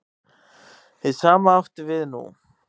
Hið sama átti við nú.